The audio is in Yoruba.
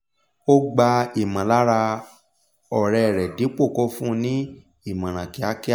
ó gbà ìmọ̀lára ọ̀rẹ́ rẹ́ dípò kó fún ní ìmòràn kíákíá